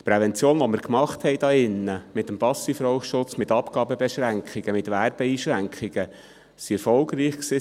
Die Prävention, welche wir hier drin mit dem SchPG gemacht haben, mit Abgabebeschränkungen und Werbeeinschränkungen, war erfolgreich.